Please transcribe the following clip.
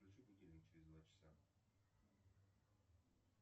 включи будильник через два часа